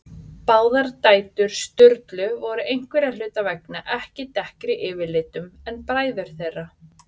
Báðar dætur Sturlu voru einhverra hluta vegna mun dekkri yfirlitum en bræður þeirra.